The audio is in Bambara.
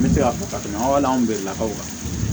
N bɛ se k'a fɔ ka tɛmɛ aw bɛɛ lakaw kan